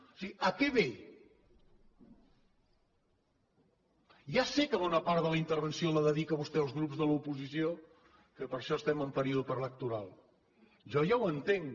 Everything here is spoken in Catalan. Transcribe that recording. o sigui a què ve ja sé que bona part de la intervenció la dedica vostè als grups de l’oposició que per això estem en període preelectoral jo ja ho entenc